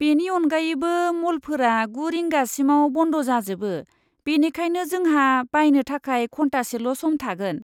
बेनि अनगायैबो, म'लफोरा गु रिंगासिमाव बन्द जाजोबो, बेनिखायनो जोंहा बायनो थाखाय घन्टासेल' सम थागोन।